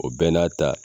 O bɛɛ n'a ta